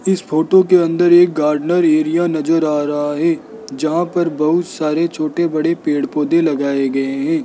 इस फोटो के अंदर एक गार्डनर एरिया नजर आ रहा है जहां पर बहुत सारे छोटे बड़े पेड़ पौधे लगाए गए हैं।